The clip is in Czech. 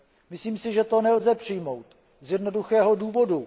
Myslím si, že to nelze přijmout z jednoduchého důvodu.